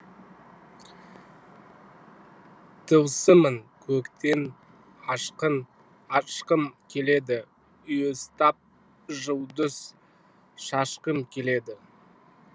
тылсымын көктің ашқым келеді уыстап жұлдыз шашқым келеді